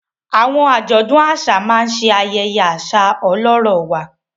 Àwọn ajọdun aṣa ṣe ayẹyẹ aṣa ọlọrọ wà